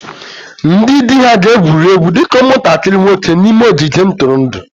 Ndị di ha ga-egwuri egwu dị ka ụmụntakịrị nwoke n'ime ogige ntụrụndụ